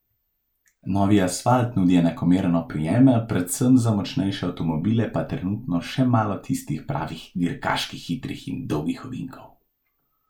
Novi asfalt nudi enakomeren oprijem, predvsem za močnejše avtomobile pa trenutno še malo tistih pravih dirkaških hitrih in dolgih ovinkov.